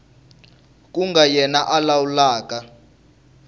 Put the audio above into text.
ku nga yena a lawulaka